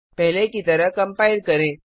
पहले की तरह कम्पाइल करें